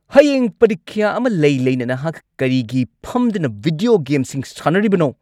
ꯍꯌꯦꯡ ꯄꯔꯤꯈ꯭ꯌꯥ ꯑꯃ ꯂꯩ-ꯂꯩꯅ ꯅꯍꯥꯛ ꯀꯔꯤꯒꯤ ꯐꯝꯗꯨꯅ ꯚꯤꯗꯤꯑꯣ ꯒꯦꯝꯁꯤꯡ ꯁꯥꯟꯅꯔꯤꯕꯅꯣ?